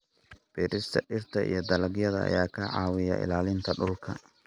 Beerista dhirta iyo dalagyada ayaa ka caawiya ilaalinta dhulka.